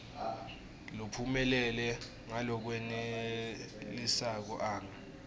lophumelele ngalokwenelisako anga